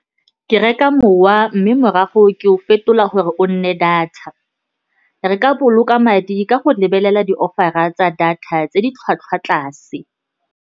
Ke reka mowa, mme morago ke o fetola gore o nne data. Re ka boloka madi ka go lebelela di-offer-a tsa data tse di tlhwatlhwa tlase.